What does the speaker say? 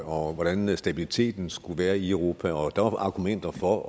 og hvordan stabiliteten skulle være i europa og der var argumenter for og